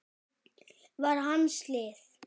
var hans lið.